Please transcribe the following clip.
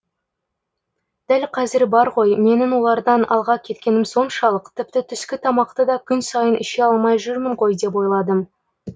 дәл қазір бар ғой менің олардан алға кеткенім соншалық тіпті түскі тамақты да күн сайын іше алмай жүрмін ғой деп ойладым